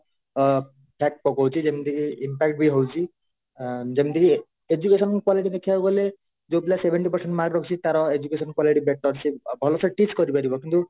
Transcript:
ଅ fact ପକଉଛି ଯେମିତି କି impact ବି ହଉଛି ଅ ଯେମିତିକି education quality ଦେଖିବାକୁ ଗଲେ ଯୋଉ ପିଲା seventy percent mark ରଖିଛି ତାର education quality better ସେ ଭଲସେ teach କରିପାରିବ କିନ୍ତୁ